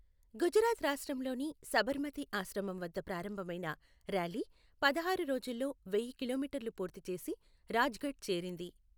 గుజరాత్ రాష్ట్రంలోని సబర్మతి ఆశ్రమం వద్ద ప్రారంభమైన ర్యాలీ పదహారు రోజుల్లో వెయ్య కిలోమీటర్లు పూర్తి చేసి రాజఘాట్ చేరింది.